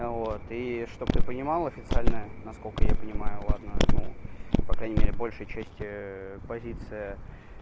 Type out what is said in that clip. вот и чтобы ты понимал официальное насколько я понимаю ладно ну по крайней мере большая часть позиция